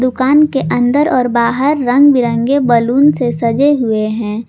दुकान के अंदर और बाहर रंग बिरंगे बलून से सजे हुए है।